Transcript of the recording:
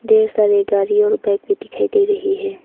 ढेर सारे गाड़ी और बाइक भी दिखाई दे रही है।